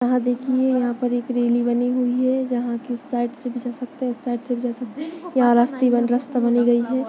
यहाँ देखिये यहाँ पर एक रैली बनी हुई है जहाँ के साइड से उस साइड से भी जा सकते है इस साइड से भी जा सकते है यहाँ रास्ता बनाई गयी है।